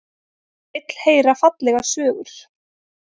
Vill heyra fallegar sögur.